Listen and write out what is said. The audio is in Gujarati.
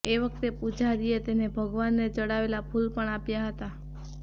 એ વખતે પૂજારીએ તેને ભગવાનને ચડાવેલાં ફૂલ પણ આપ્યા હતા